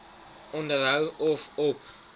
onderhou of op